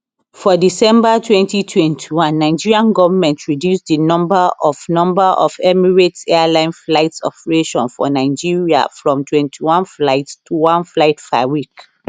for december 2021 nigerian goment reduce di number of number of emirates airlines flight operations for nigeria from 21 flights to one flight per week